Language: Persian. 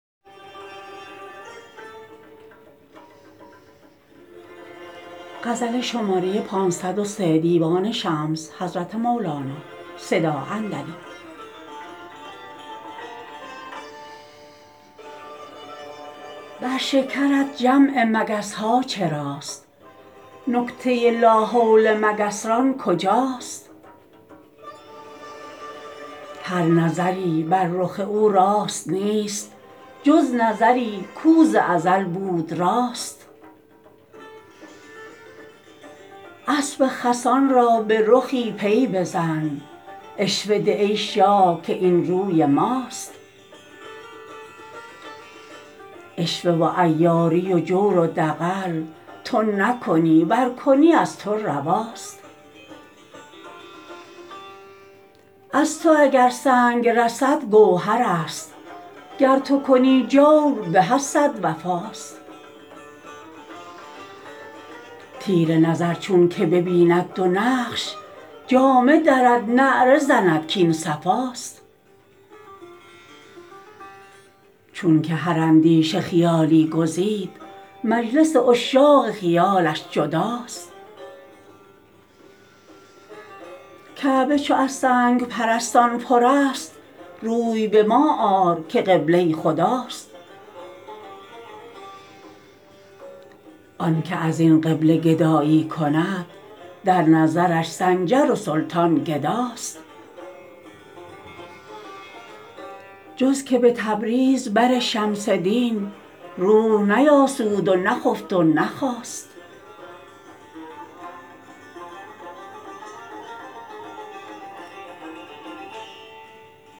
بر شکرت جمع مگس ها چراست نکته لاحول مگس ران کجاست هر نظری بر رخ او راست نیست جز نظری کو ز ازل بود راست اسب خسان را به رخی پی بزن عشوه ده ای شاه که این روی ماست عشوه و عیاری و جور و دغل تو نکنی ور کنی از تو رواست از تو اگر سنگ رسد گوهرست گر تو کنی جور به از صد وفاست تیره نظر چونک ببیند دو نقش جامه درد نعره زند کاین صفاست چونک هر اندیشه خیالی گزید مجلس عشاق خیالش جداست کعبه چو از سنگ پرستان پرست روی به ما آر که قبله خداست آنک از این قبله گدایی کند در نظرش سنجر و سلطان گداست جز که به تبریز بر شمس دین روح نیآسود و نخفت و نخاست